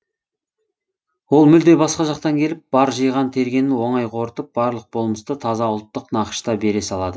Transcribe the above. ол мүлде басқа жақтан келіп бар жиған тергенін оңай қорытып барлық болмысты таза ұлттық нақышта бере салады